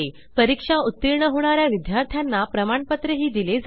परीक्षेत उत्तीर्ण होणाऱ्या विद्यार्थ्यांना प्रमाणपत्र दिले जाते